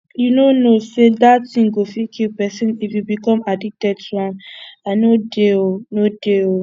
you no know say dat thing go fit kill person if you become addicted to am i no dey oo no dey oo